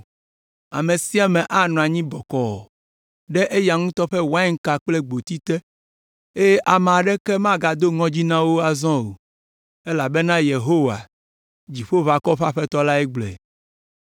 Ame sia ame anɔ anyi bɔkɔɔ ɖe eya ŋutɔ ƒe wainka kple gboti te; eye ame aɖeke magado ŋɔdzi na wo azɔ o elabena Yehowa, dziƒoʋakɔwo ƒe Aƒetɔ lae gblɔe.